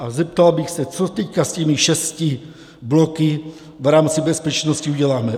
A zeptal bych se: Co teď s těmi šesti bloky v rámci bezpečnosti uděláme?